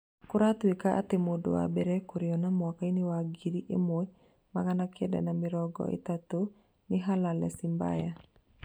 Kũretĩkio atĩ mũndũ wa mbere kũrĩona mĩaka-inĩ ya ngiri ĩmwe magana kenda ma mĩrongo ĩtatũ nĩ Halale Simbaya